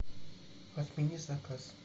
отмени заказ